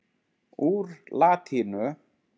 Úr latínu